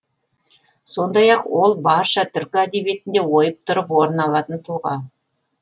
сондай ақ ол барша түркі әдебиетінде ойып тұрып орын алатын тұлға